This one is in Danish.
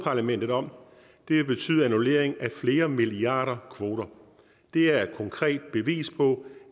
parlamentet om det vil betyde annullering af flere milliarder kvoter det er et konkret bevis på